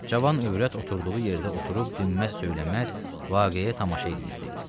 Cavan övrət oturduğu yerdə oturub dinməz-söyləməz vaqəyə tamaşa eləyirdi.